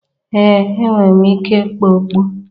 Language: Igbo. Ee enwere m ike ịkpa okpu